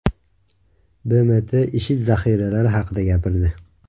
BMT IShID zaxiralari haqida gapirdi.